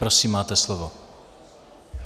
Prosím, máte slovo.